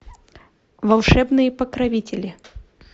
волшебные покровители